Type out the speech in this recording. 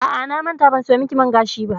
A'a, na manta ban sayo miki man gashi ba.